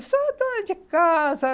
Eu sou dona de casa.